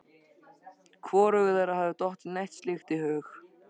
Hvorugu þeirra hafði dottið neitt slíkt í hug.